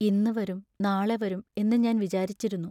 ഇന്നു വരും, നാളെ വരും എന്നു ഞാൻ വിചാരിച്ചിരുന്നു.